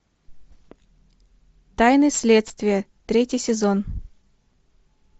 тайны следствия третий сезон